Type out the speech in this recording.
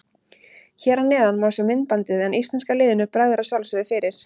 Hér að neðan má sjá myndbandið en íslenska liðinu bregður að sjálfsögðu fyrir.